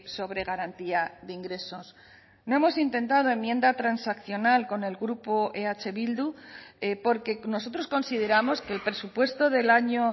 sobre garantía de ingresos no hemos intentado enmienda transaccional con el grupo eh bildu porque nosotros consideramos que el presupuesto del año